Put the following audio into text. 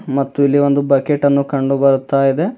ಮತ್ತು ಇಲ್ಲಿ ಒಂದು ಬಕೆಟ್ ಅನ್ನು ಕಂಡು ಬರುತ್ತ ಇದೆ.